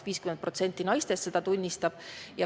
50% naistest tunnistab seda.